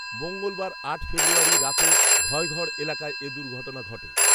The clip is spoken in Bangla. মঙ্গলবার আট ফেব্রুয়ারি রাতে ঘয়গড় এলাকায় এ দুর্ঘটনা ঘটে